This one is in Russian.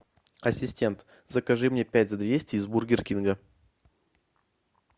ассистент закажи мне пять за двести из бургер кинга